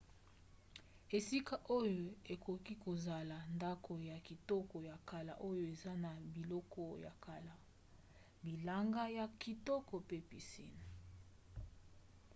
esika oyo ekoki kozala ndako ya kitoko ya kala oyo eza na biloko ya kala bilanga ya kikoto pe piscine